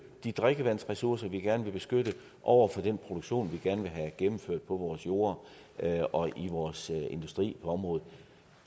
og de drikkevandsressourcer vi gerne vil beskytte og den produktion vi gerne vil have gennemført på vores jorde og i vores industri på området